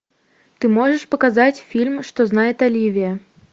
ты можешь показать фильм что знает оливия